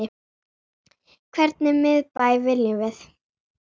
Hvernig miðbæ viljum við?